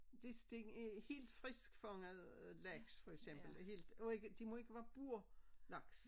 De skal være helt friskfanget øh laks for eksempel helt de må ikke være burlaks